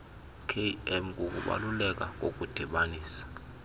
km kukubaluleka kokudibanisa